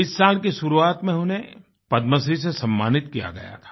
इस साल की शुरुआत में उन्हें पद्मश्री से सम्मानित किया गया था